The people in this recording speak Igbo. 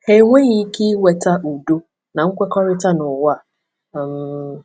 Ha enweghị ike iweta udo na nkwekọrịta n’ụwa a. um